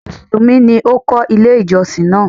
Mùsùlùmí ni ó kọ́ ilé ìjọsìn náà.